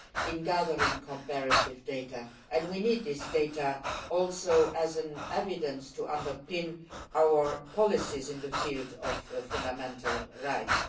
in gathering comparative data, and we need such data as evidence to underpin our policies in the field of fundamental rights.